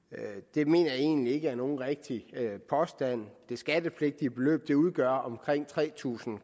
det mener jeg egentlig ikke er en rigtig påstand det skattepligtige beløb udgør omkring tre tusind